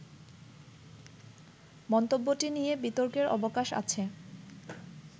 মন্তব্যটি নিয়ে বিতর্কের অবকাশ আছে